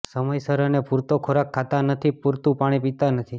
સમયસર અને પૂરતો ખોરાક ખાતા નથી પુરતુ પાણી પીતા નથી